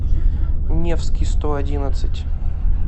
невский сто одиннадцать